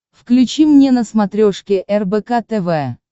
включи мне на смотрешке рбк тв